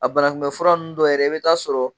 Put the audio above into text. A banakunbɛ fura nn dɔw yɛrɛ i bɛ taa sɔrɔ